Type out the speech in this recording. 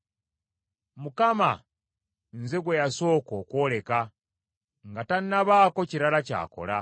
Mukama nze gwe yasooka okwoleka nga tannabaako kirala ky’akola.